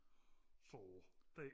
så det